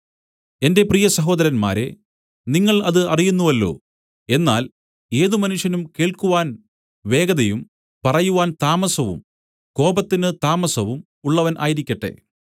എന്റെ പ്രിയ സഹോദരന്മാരേ നിങ്ങൾ അത് അറിയുന്നുവല്ലോ എന്നാൽ ഏത് മനുഷ്യനും കേൾക്കുവാൻ വേഗതയും പറയുവാൻ താമസവും കോപത്തിന് താമസവും ഉള്ളവൻ ആയിരിക്കട്ടെ